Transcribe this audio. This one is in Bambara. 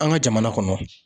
An ka jamana kɔnɔ.